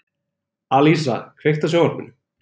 Alísa, kveiktu á sjónvarpinu.